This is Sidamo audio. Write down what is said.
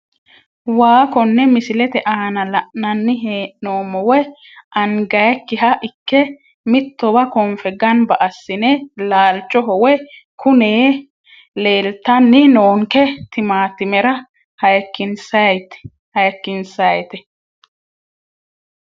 Waa kone misilete aana la`nani heenomo wayi angayiikiha ike mittowa konfe ganba asine laalchoho woyi kunee leeltani noonke timaatimera hayikinsayite.